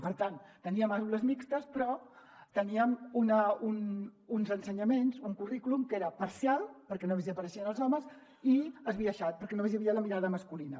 per tant teníem aules mixtes però teníem uns ensenyaments un currículum que era parcial perquè només hi apareixien els homes i esbiaixat perquè només hi havia la mirada masculina